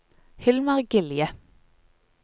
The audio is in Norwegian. Hilmar Gilje